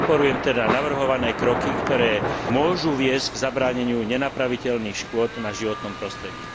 Podporujem teda navrhované kroky, ktoré môžu viesť k zabráneniu nenapraviteľných škôd na životnom prostredí.